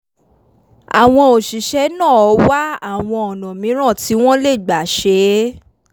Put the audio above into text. àwọn òṣìṣẹ́ náà wá àwọn ọ̀nà mìíràn tí wọ́n lè gbà ṣe é